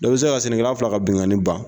Dɔ bi se ka sɛnɛkɛla fila ka binkani ban